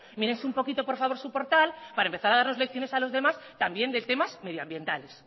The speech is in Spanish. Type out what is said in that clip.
mírese un poquito por favor su portal para empezar a darnos lecciones a los demás también de temas medioambientales